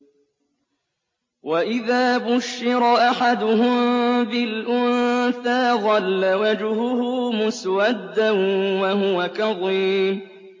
وَإِذَا بُشِّرَ أَحَدُهُم بِالْأُنثَىٰ ظَلَّ وَجْهُهُ مُسْوَدًّا وَهُوَ كَظِيمٌ